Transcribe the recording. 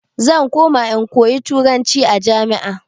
Zan koma in koyi turanci a jami'a.